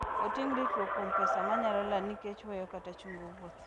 Oting'o ritruok kuom pesa manyalo lal nikech weyo kata chungo wuoth.